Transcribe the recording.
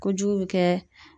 Kojugu be kɛ